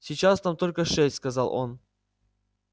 сейчас там только шесть сказал он